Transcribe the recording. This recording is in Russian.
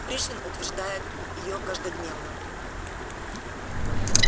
пришвин утверждает её каждодневно